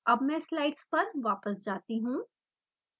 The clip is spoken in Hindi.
अब मैं स्लाइड्स पर वापस जाती हूँ